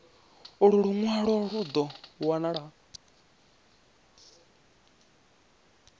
ulu lunwalo lu do wanala